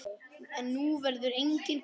En nú verður enginn gamall.